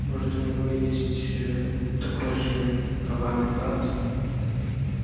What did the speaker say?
может у него есть такой же коварный брат